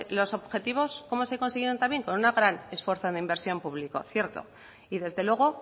los objetivos cómo se consiguen también con un gran esfuerzo en inversión público cierto y desde luego